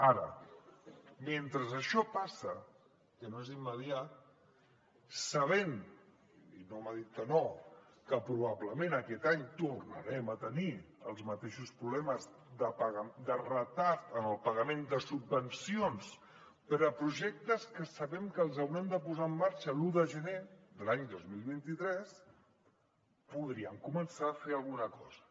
ara mentre això passa que no és immediat sabent i no m’ha dit que no que probablement aquest any tornarem a tenir els mateixos problemes de retard en el pagament de subvencions per a projectes que sabem que els hauran de posar en marxa l’un de gener de l’any dos mil vint tres podríem començar a fer alguna cosa